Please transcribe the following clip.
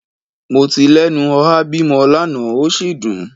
Mo ti lenu oha bimo lana o si dun